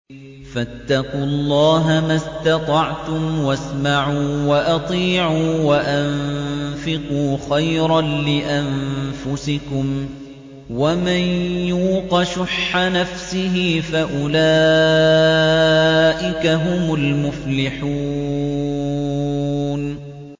فَاتَّقُوا اللَّهَ مَا اسْتَطَعْتُمْ وَاسْمَعُوا وَأَطِيعُوا وَأَنفِقُوا خَيْرًا لِّأَنفُسِكُمْ ۗ وَمَن يُوقَ شُحَّ نَفْسِهِ فَأُولَٰئِكَ هُمُ الْمُفْلِحُونَ